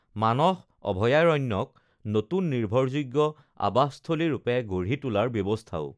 মানস অভয়াৰণ্যক নতুন নিৰ্ভৰযোগ্য আবাসস্থলী ৰূপে গঢ়ি তোলাৰ ব্যৱস্থাও